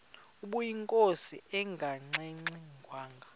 ubeyinkosi engangxe ngwanga